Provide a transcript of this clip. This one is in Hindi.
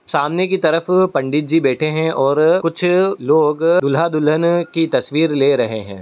सामने की तरफ पंडित जी बैठे हैं कुछ लोग दूल्हा दुल्हन की तस्वीर ले रहै हैं।